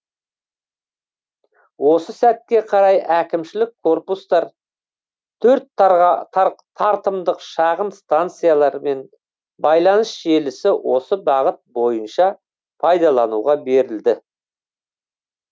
осы сәтке қарай әкімшілік корпустар төрт тартымдық шағын станциялар мен байланыс желісі осы бағыт бойынша пайдалануға берілді